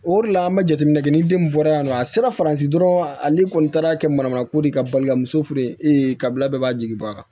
O de la an bɛ jateminɛ kɛ ni den mun bɔra yan nɔ a sera faransi dɔrɔn ale kɔni taara kɛ manamanako de ye ka balila muso fe yen e ka bila bɛɛ b'a jigi bɔ a kan